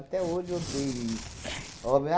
Até hoje eu odeio isso. Homem